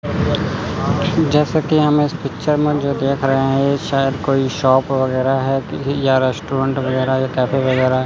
जैसा कि हम इस पिक्चर में जो देख रहे हैं ये शायद कोई शॉप वगैरह है कि या रेस्टोरेंट वगैरह या कैफे वगैरह।